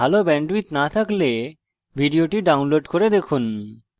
ভাল bandwidth না থাকলে ভিডিওটি download করে দেখুন